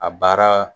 A baara